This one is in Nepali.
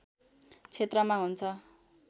क्षेत्रमा हुन्छ